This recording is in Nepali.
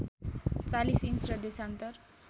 ४० इन्च र देशान्तर